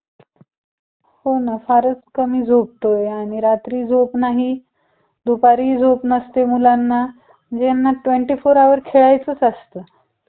श्रीगोंद्यात घेऊन टाकतो काय अडचण नाही. तुमच्या मध्यस्थीने घेऊन जाईन श्रीगोंद्याला त्या franchise वाल्याला घेऊन येतो मी उद्या